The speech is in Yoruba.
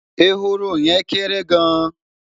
ehoro yen kere gaan